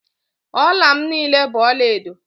Ọla m niile bụ ọlaedo